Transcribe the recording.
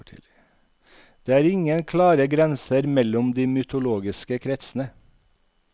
Det er ingen klare grenser mellom de mytologiske kretsene.